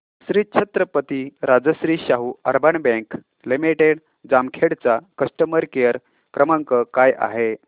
Shri Chhatrapati Rajashri Shahu urban bank limited Jamkhed चा customer care क्रमांक काय आहे